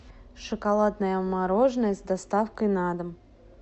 шоколадное мороженое с доставкой на дом